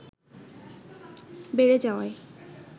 বেড়ে যাওয়ায়